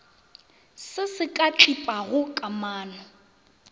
se se ka tlipago kamano